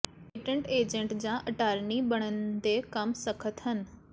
patent agent ਜਾਂ attorney ਬਣਨ ਦੇ ਕਦਮ ਸਖ਼ਤ ਹਨ